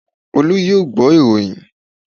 Olú yóò gbọ́ ìròyìn